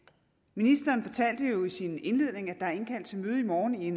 ministeren fortalte jo i sin indledning at der er indkaldt til møde i morgen i